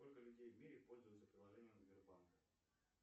сколько людей в мире пользуются приложением сбербанка